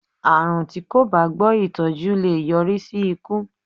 Àrùn tí kò bá gbọ́ ìtọ́jú lè yọrí sí ikú.